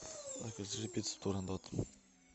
закажи пиццу турандот